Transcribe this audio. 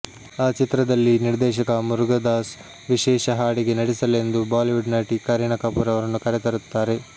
ಆ ಚಿತ್ರದಲ್ಲಿ ನಿರ್ದೇಶಕ ಮುರುಗದಾಸ್ ವಿಶೇಷ ಹಾಡಿಗೆ ನಟಿಸಲೆಂದು ಬಾಲಿವುಡ್ ನಟಿ ಕರೀನ ಕಪೂರ್ ಅವರನ್ನು ಕರೆತರುತ್ತಾರೆ